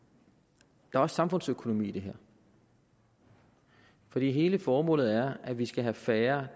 der er også samfundsøkonomi i det her for hele formålet er at vi skal have færre